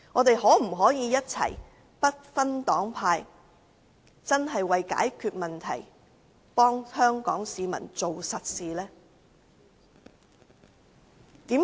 大家可否不分黨派一起解決問題，為香港市民做實事？